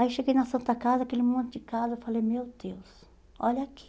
Aí cheguei na Santa Casa, aquele monte de casa, eu falei, meu Deus, olha aqui.